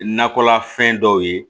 Nakɔlafɛn dɔw ye